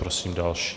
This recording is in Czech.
Prosím další.